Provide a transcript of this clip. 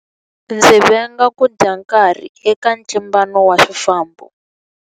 Ndzi venga ku dya nkarhi eka ntlimbano wa swifambo.